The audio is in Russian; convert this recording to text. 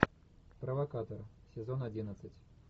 провокатор сезон одиннадцать